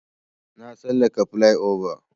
Na tsallaka plyova.